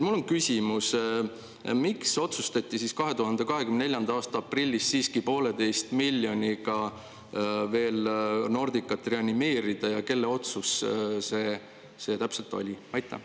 Mul on küsimus: miks otsustati 2024. aasta aprillis siiski poolteise miljoniga veel Nordicat reanimeerida ja kelle otsus see täpselt oli?